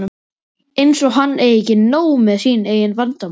Eins og hann eigi ekki nóg með sín eigin vandamál!